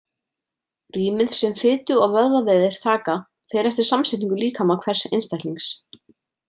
Rýmið sem fitu- og vöðvavefir taka fer eftir samsetningu líkama hvers einstaklings.